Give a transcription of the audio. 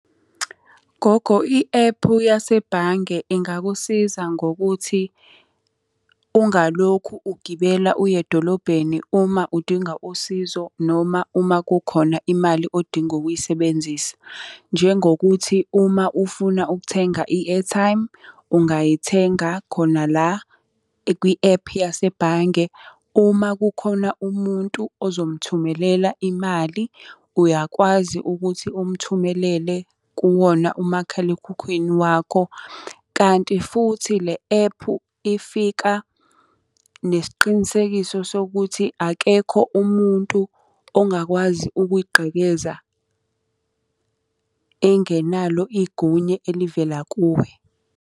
Gogo, i-ephu yasebhange ingakusiza ngokuthi ungalokhu ugibela uye edolobheni uma udinga usizo noma uma kukhona imali odinga ukuyisebenzisa. Njengokuthi uma ufuna ukuthenga i-airtime, ungayithenga khona la kwi-ephu yasebhange. Uma kukhona umuntu ozomuthumelela imali, uyakwazi ukuthi umthumelele kuwona umakhalekhukhwini wakho. Kanti futhi le-ephu ifika nesiqinisekiso sokuthi akekho umuntu ongakwazi ukuyigqekeza engenalo igunya elivela kuwe.